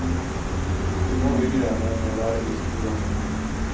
Så nå hygger jeg meg med å lære disse programmene.